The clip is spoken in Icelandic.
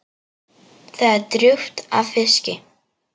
Það er drjúgt af fiski.